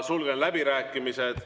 Sulgen läbirääkimised.